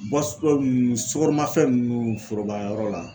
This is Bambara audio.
nunnu sukaromafɛn nunnu foroba yɔrɔ la.